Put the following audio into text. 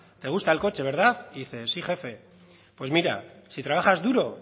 te gusta el coche verdad y dice sí jefe pues mira si trabajas duro